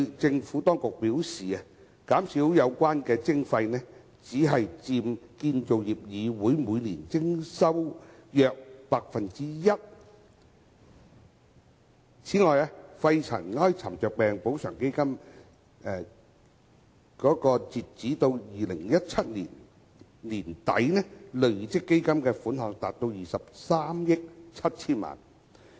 政府當局表示，減少有關徵費，只佔建造業議會每年徵款收入約 1%。此外，肺塵埃沉着病補償基金截至2017年年底，累積款項達23億 7,000 萬元。